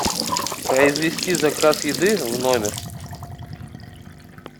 произвести заказ еды в номер